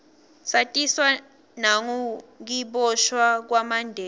satiswa nengukiboshwa kwamandela